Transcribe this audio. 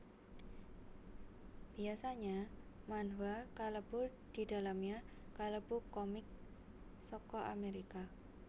Biasanya manhwa kalebu didalamnya kalebu comic saka amerika